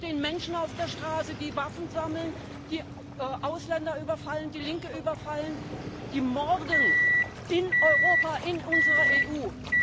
Es stehen Menschen auf der Straße, die Waffen sammeln, die Ausländer überfallen, die Linke überfallen, die morden in Europa, in unserer EU.